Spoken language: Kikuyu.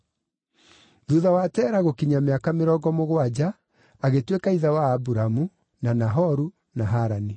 Thuutha wa Tera gũkinyia mĩaka mĩrongo mũgwanja, agĩtuĩka ithe wa Aburamu, na Nahoru na Harani.